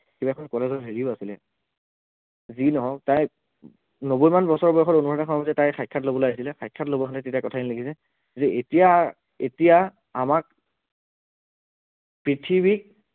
কিবা এখন college ত হেৰিও আছিলে, যি নহওক তাই নব্বৈমান বছৰ বয়সত অনুৰাধা শৰ্মা পূজাৰীয়ে তাইৰ সাক্ষাৎ লবলে আহিছিলে সাক্ষাৎ লব আহোতে তেতিয়া কথাখিনি লিখিছে যে এতিয়া এতিয়া আমাক পৃথিৱীক